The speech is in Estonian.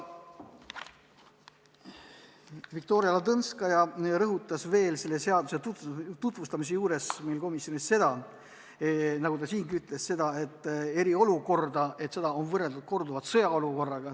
Viktoria Ladõnskaja rõhutas seda seaduseelnõu komisjonis tutvustades nagu siingi, et eriolukorda on korduvalt võrreldud sõjaolukorraga.